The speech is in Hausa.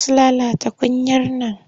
Za su lalata kunyar nan.